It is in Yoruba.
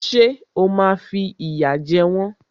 Ṣé o máa fi ìyà jẹ wọ́n?